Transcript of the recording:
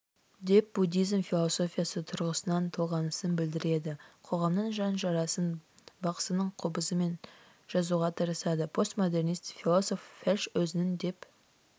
деп буддизм философиясы тұрғысынан толғанысын білдіреді қоғамның жан жарасын бақсының қобызымен жазуға тырысады постмодернист-философ вельш өзінің деп